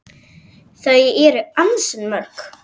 Þau eru ansi mörg.